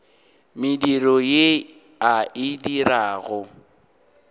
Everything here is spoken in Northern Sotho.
mediro ye a e dirago